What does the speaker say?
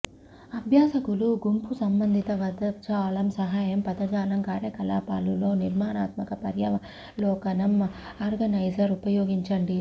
అభ్యాసకులు గుంపు సంబంధిత పదజాలం సహాయం పదజాలం కార్యకలాపాలు లో నిర్మాణాత్మక పర్యావలోకనం ఆర్గనైజర్ ఉపయోగించండి